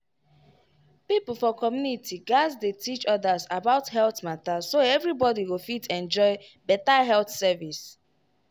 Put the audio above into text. people for community gatz dey teach others about health matter so everybody go fit enjoy better health service.